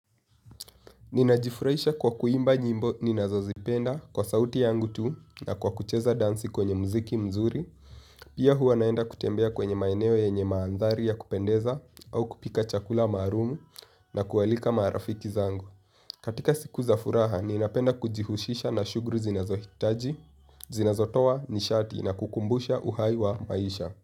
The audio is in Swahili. Ninajifurahisha kwa kuimba nyimbo ninazozipenda kwa sauti yangu tu na kwa kucheza dansi kwenye muziki mzuri. Pia huwa naenda kutembea kwenye maeneo yenye maandhari ya kupendeza au kupika chakula maalumu na kualika marafiki zangu. Katika siku za furaha ninapenda kujihusisha na shughuli zinazohitaji, zinazotoa nishati na kukumbusha uhai wa maisha.